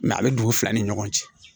a bɛ dugu fila ni ɲɔgɔn cɛ